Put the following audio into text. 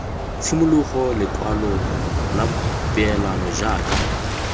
tshimologo lekwalo la peelano jaaka